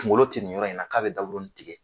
Kungolo tɛ nin yɔrɔ in na k'a bɛ daburuni tigɛ.